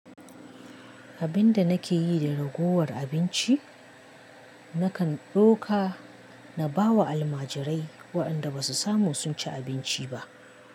Abin da nake yi da ragowar abinci, nakan ɗauka na ba wa almajirai waɗanda ba su samu sun ci abinci ba.